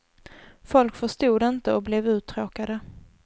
Folk förstod inte och blev uttråkade.